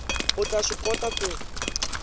u ta swi kota ku